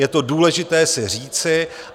Je to důležité si říci.